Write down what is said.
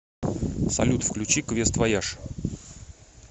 салют включи квест вояж